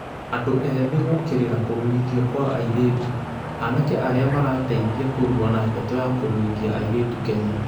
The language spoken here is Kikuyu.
Andũ ethĩ gũkĩrĩra kũrũithio Kwa airĩtu: Anake arĩa marateithia kũrũa na ndeto ya kũrũithia airĩtu Kenya